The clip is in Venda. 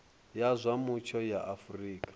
ya zwa mutsho ya afrika